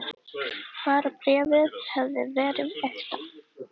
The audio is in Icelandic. Bara bréfið hefði verið ekta!